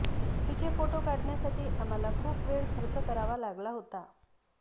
तिचे फोटो काढण्यासाठी आम्हाला खूप वेळ खर्च करावा लागला होता